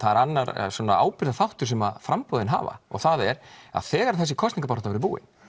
annar sem framboðin hafa og það er að þegar þessi kosningabarátta verður búin